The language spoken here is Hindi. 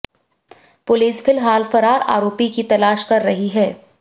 पुलिस फिलहाल फरार आरोपी की तलाश कर रही है